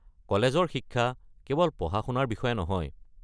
কলেজৰ শিক্ষা কেৱল পঢ়া-শুনাৰ বিষয়ে নহয়।